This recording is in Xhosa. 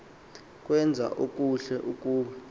kwenza okuhle ukuba